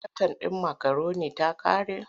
Har katan ɗin makaroni ta ƙare?